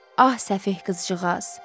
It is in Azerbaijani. Ah, səfeh qızcığaz!